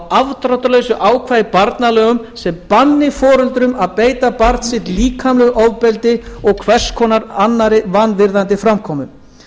afdráttarlausu ákvæði í barnalögum sem banni foreldrum að beita barn sitt líkamlegu ofbeldi og hvers konar annarri vanvirðandi framkomu